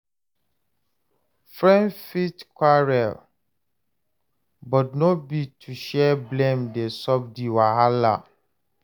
Friends fit quarrel but no be to share blame dey solve di wahala